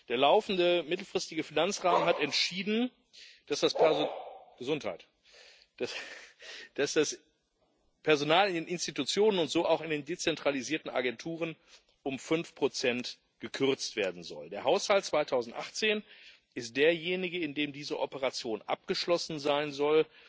Der laufende mittelfristige Finanzrahmen hat entschieden, dass das Personal in den Institutionen und so auch in den dezentralisierten Agenturen um 5 gekürzt werden soll. Der Haushalt 2018 ist derjenige, in dem diese Operation abgeschlossen sein soll,